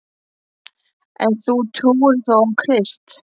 En þú trúir þó á Krist?